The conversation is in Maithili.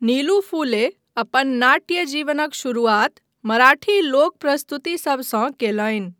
नीलू फुले अपन नाट्य जीवनक शुरुआत मराठी लोक प्रस्तुतिसभसँ कयलनि।